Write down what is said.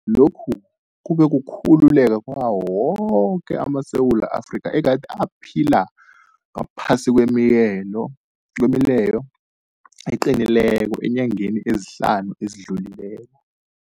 Lokhu kube kukhululeka kwawo woke amaSewula Afrika egade aphila ngaphasi kwemileyo eqinileko eenyangeni ezihlanu ezidlulileko.